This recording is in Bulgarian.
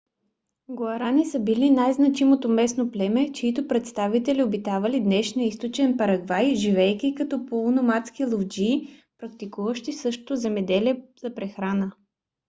гуарани са били най-значимото местно племе чийто представители обитавали днешния източен парагвай живеейки като полуномадски ловджии практикуващи също земеделие за прехрана